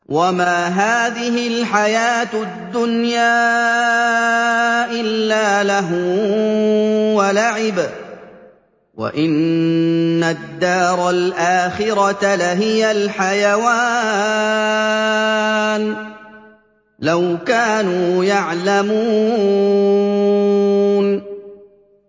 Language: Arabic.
وَمَا هَٰذِهِ الْحَيَاةُ الدُّنْيَا إِلَّا لَهْوٌ وَلَعِبٌ ۚ وَإِنَّ الدَّارَ الْآخِرَةَ لَهِيَ الْحَيَوَانُ ۚ لَوْ كَانُوا يَعْلَمُونَ